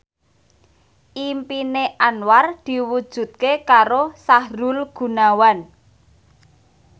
impine Anwar diwujudke karo Sahrul Gunawan